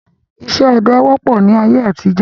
Ìṣe ọdẹ wọ́pọ̀ ni ayé àtijọ́